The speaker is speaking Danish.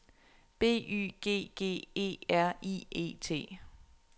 B Y G G E R I E T